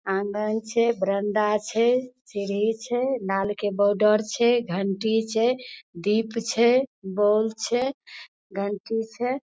आंगन छै बारानडा सीढ़ी छै लाल के बॉर्डर छै घंटी छै दीप छै बोल छै घंटी छै।